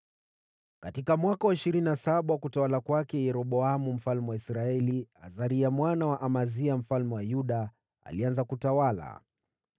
Katika mwaka wa ishirini na saba wa utawala wa Yeroboamu mfalme wa Israeli, Azaria mwana wa Amazia mfalme wa Yuda alianza kutawala.